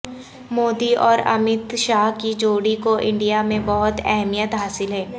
مودی اور امت شاہ کی جوڑی کو انڈیا میں بہت اہمیت حاصل ہے